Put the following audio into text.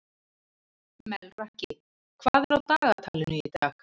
Melrakki, hvað er á dagatalinu í dag?